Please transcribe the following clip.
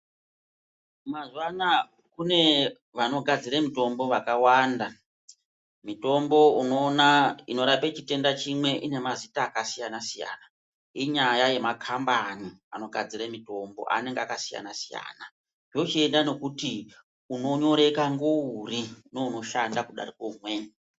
Mazuwaano kune vaogadzira mitombo vakwanda mutombo unogona unoraoa chitenda chimwe unenge unemazita akasiyana siyaa ,Inyaya yemakambani anogadzira mitombo akasiyana siyana, zvochiendera nekuti unonyoreka ndouri nounoshanda kudarike mumweni.